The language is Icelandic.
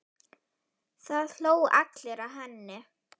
Það hlógu allir að henni.